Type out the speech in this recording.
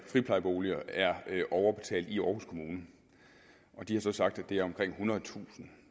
friplejeboliger er overbetalt i aarhus kommune og de har så sagt at det er omkring ethundredetusind